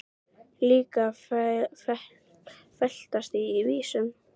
Líka að veltast í henni vísan.